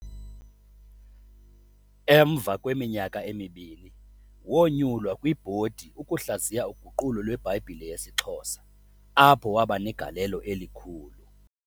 Emva kweminyaka emini, wonyulwa kwibhodi ukuhlaziya uguqulo lweBhayibhile yesiXhosa apho wabanegalelo elikhulu.